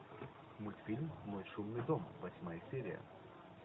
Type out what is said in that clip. мультфильм мой шумный дом восьмая серия